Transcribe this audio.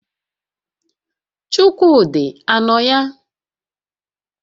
Chukwudị a nọ ya?